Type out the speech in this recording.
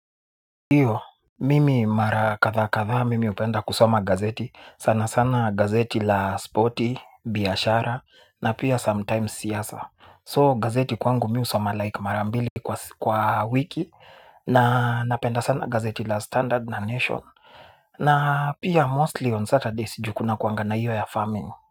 Iyo, mimi mara kadha kadha mimi hupenda kusoma gazeti, sana sana gazeti la spotty, biashara na pia sometimes siyasa So gazeti kwangu mi husoma like mara mbili kwa wiki na napenda sana gazeti la standard na nation. Na pia mostly on Saturdays juu kuna kuanga na iyo ya farming.